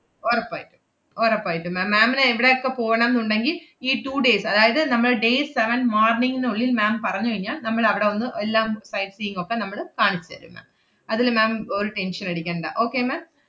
ഒറപ്പായിട്ടും ഒറപ്പായിട്ടും ma'am ma'am ന് എവടെയെക്കെ പോണം ~ന്നുണ്ടെങ്കി ഈ two days അതായത് നമ്മൾ day seven morning നുള്ളിൽ ma'am പറഞ്ഞു കഴിഞ്ഞാ, നമ്മളവടെ ഒന്ന് എല്ലാം sight seeing ഒക്കെ നമ്മള് കാണിച്ചെരും ma'am. അതില് ma'am ഒരു tension ഉം അടിക്കണ്ട. okay ma'am?